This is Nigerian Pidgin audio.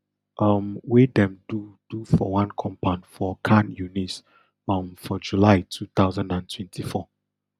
um wey dem do do for one compound for khan younis um for july two thousand and twenty-four